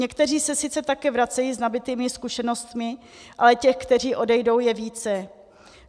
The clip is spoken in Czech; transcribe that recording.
Někteří se sice také vracejí s nabytými zkušenostmi, ale těch, kteří odejdou, je více.